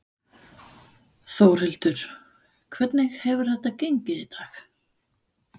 Þórhildur: Hvernig hefur þetta gengið í dag?